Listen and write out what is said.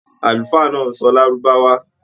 Àlùfáà náà n sọ lárúbáwá.